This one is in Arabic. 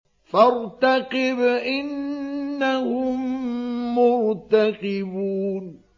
فَارْتَقِبْ إِنَّهُم مُّرْتَقِبُونَ